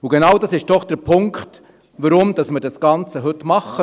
Und genau das ist doch der Punkt, warum wir das Ganze heute machen.